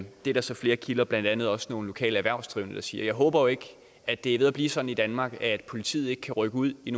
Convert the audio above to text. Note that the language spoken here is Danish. det er der så flere kilder blandt andet også nogle lokale erhvervsdrivende der også siger jeg håber ikke at det er ved at blive sådan i danmark at politiet ikke kan rykke ud i